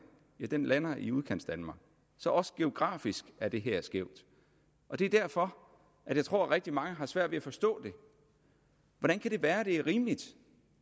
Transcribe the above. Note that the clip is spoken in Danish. ja den lander i udkantsdanmark så også geografisk er det her skævt det er derfor jeg tror at rigtig mange har svært ved at forstå det hvordan kan det være man mener det er rimeligt